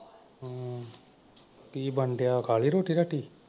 ਕੀ ਬਣਨ ਡਿਆ ਖਾ ਗਏ ਰੋਟੀ ਰਾਟੀ?